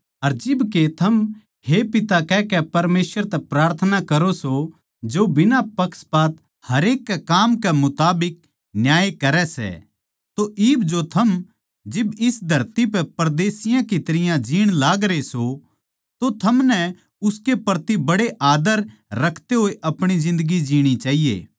अर जिब के थम हे पिता कहकै परमेसवर तै प्रार्थना करो सो जो बिना पक्षपात हरेक कै काम कै मुताबिक न्याय करै सै तो इब जो थम जिब इस धरती पै परदेसियाँ की तरियां जीण लागरे सों तो थम उसके प्रति बड़े आदर रखते होए अपनी जिन्दगी जीणी चाहिए